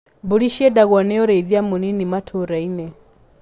Mbũri ciendagwo nĩ ũrĩithia mũnini matũra-inĩ.